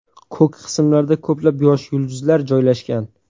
Ko‘k qismlarda ko‘plab yosh yulduzlar joylashgan.